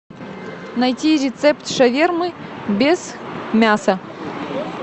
найти рецепт шавермы без мяса